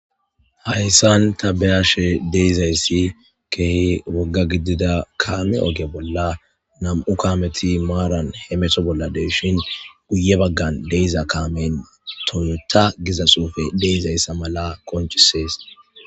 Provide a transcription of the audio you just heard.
Hayssan ta beyashe deyzayssi kehi wogga gidida kaame oge bolla nam'u kaameti maaran he meto bolla deshin guye baggan deiza kaamen toyota giza suufe deizayssa mala konchisees.